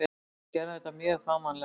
Við gerðum þetta mjög fagmannlega.